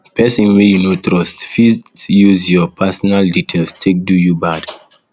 person wey you um no trust fit use um your um personal details take do you bad